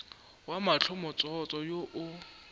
ya mahlo motsotso wo o